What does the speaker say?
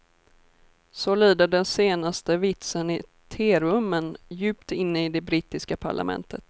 Så lyder den senaste vitsen i terummen djupt inne i det brittiska parlamentet.